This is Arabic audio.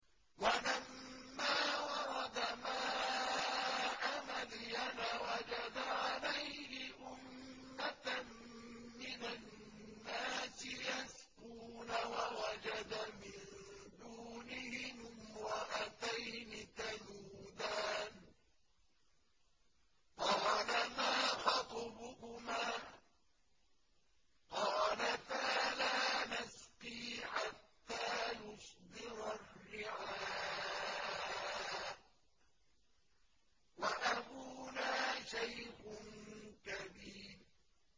وَلَمَّا وَرَدَ مَاءَ مَدْيَنَ وَجَدَ عَلَيْهِ أُمَّةً مِّنَ النَّاسِ يَسْقُونَ وَوَجَدَ مِن دُونِهِمُ امْرَأَتَيْنِ تَذُودَانِ ۖ قَالَ مَا خَطْبُكُمَا ۖ قَالَتَا لَا نَسْقِي حَتَّىٰ يُصْدِرَ الرِّعَاءُ ۖ وَأَبُونَا شَيْخٌ كَبِيرٌ